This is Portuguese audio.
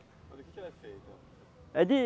Mas o que é feita? É de